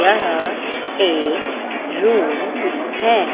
यह एक रूम है।